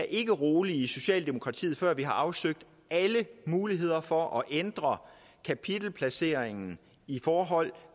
ikke rolige i socialdemokratiet før vi har afsøgt alle muligheder for at ændre kapitelplaceringen i forhold